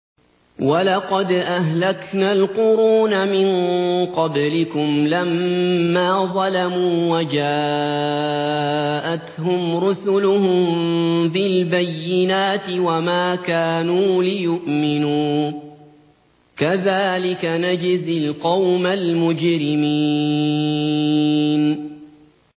وَلَقَدْ أَهْلَكْنَا الْقُرُونَ مِن قَبْلِكُمْ لَمَّا ظَلَمُوا ۙ وَجَاءَتْهُمْ رُسُلُهُم بِالْبَيِّنَاتِ وَمَا كَانُوا لِيُؤْمِنُوا ۚ كَذَٰلِكَ نَجْزِي الْقَوْمَ الْمُجْرِمِينَ